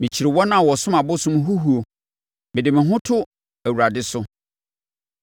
Mekyiri wɔn a wɔsom abosom huhuo; mede me ho to Awurade so.